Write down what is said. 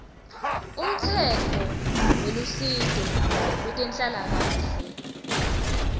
umtsetfo welusito lwetenhlalakanhle